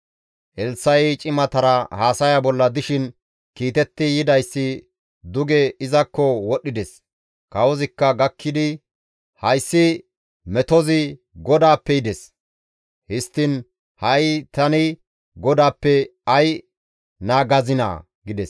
Elssa7i cimatara haasaya bolla dishin kiitetti yidayssi duge izakko wodhdhides; kawozikka gakkidi, «Hayssi metozi GODAAPPE yides; histtiin ha7i tani GODAAPPE ay naagazinaa?» gides.